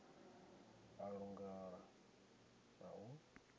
a u langula na u